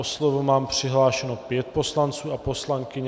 O slovo mám přihlášeno pět poslanců a poslankyň.